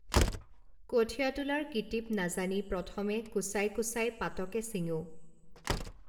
কঠীয়া তোলাৰ কিটিপ নাজানি প্ৰথমে কোঁচাই কোঁচাই পাতকে চিঙো